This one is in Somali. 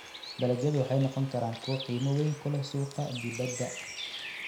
Dalagyadu waxay noqon karaan kuwo qiimo weyn ku leh suuqa dibadda.